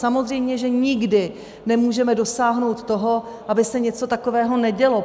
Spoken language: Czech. Samozřejmě že nikdy nemůžeme dosáhnout toho, aby se něco takového nedělo.